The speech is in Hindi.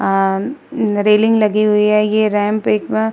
आ-म्- रेलिंग लगी हुई है। ये रेम्प एक म् --